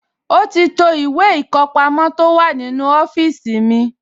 Ó ti to ìwé ìkọpamọ́ tó wà nínú ọ́fíìsì mi